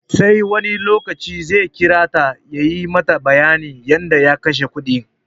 Sai wani lokaci zai kira ta ya yi mata bayanin yadda ya kashe kudin.